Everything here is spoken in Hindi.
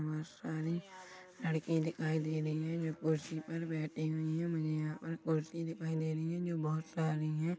बहुत सारी लड़की दिखाई दे रही है जो कुर्सी पे बैठी हुई है मुझे यहाँ पर कुर्सी दिखाई दे रही है जो बहुत सारा--